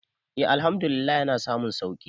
e Àlhamdulillah yana samun sauki